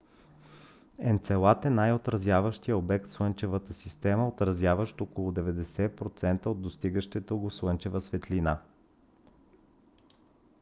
енцелад е най - отразяващият обект в слънчевата система отразяващ около 90 процента от достигащата го слънчева светлина